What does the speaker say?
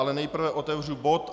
Ale nejprve otevřu bod